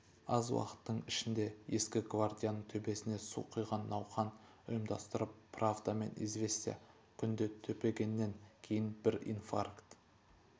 аз уақыттың ішінде ескі гвардияның төбесіне су құйған науқан ұйымдастырып правда мен известия күнде төпегеннен кейін бір инфаркт